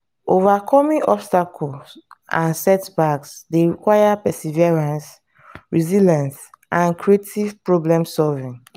overcoming obstacles and setbacks dey require perseverance resilience and creative problem-solving.